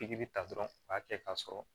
Pikiri ta dɔrɔn u b'a kɛ k'a sɔrɔ